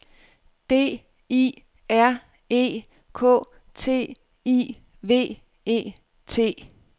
D I R E K T I V E T